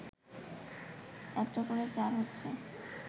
একটা করে চার হচ্ছে